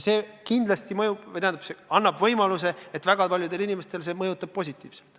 Kuid see annab kindlasti võimaluse, et väga paljusid inimesi mõjutab see reform positiivselt.